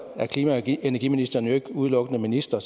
er klima og energiministeren jo ikke udelukkende minister